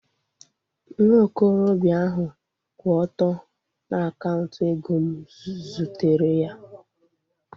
Nwa okorobịa ahu kwụ ọtọ na kaunta oge m zutere ya